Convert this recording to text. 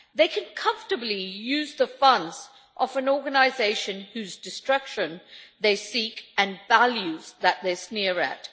They can comfortably use the funds of an organisation whose destruction they seek and whose values they sneer at.